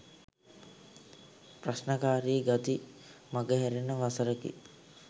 ප්‍රශ්නකාරී ගති මගහැරෙන වසරකි.